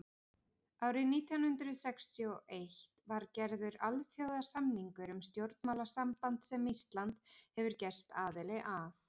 árið nítján hundrað sextíu og einn var gerður alþjóðasamningur um stjórnmálasamband sem ísland hefur gerst aðili að